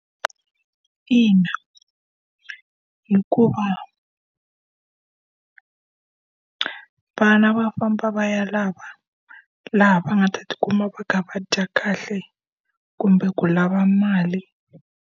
Ina hikuva vana va famba va ya laha va nga ta tikuma va ka va dya kahle, kumbe ku lava mali.